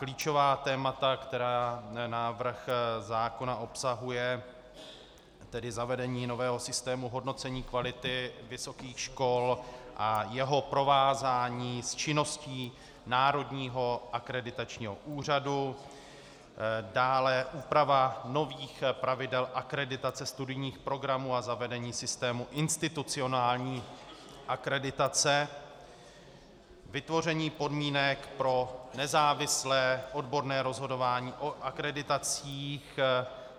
Klíčová témata, která návrh zákona obsahuje, tedy zavedení nového systému hodnocení kvality vysokých škol a jeho provázání s činností Národního akreditačního úřadu, dále úprava nových pravidel akreditace studijních programů a zavedení systému institucionální akreditace, vytvoření podmínek pro nezávislé odborné rozhodování o akreditacích.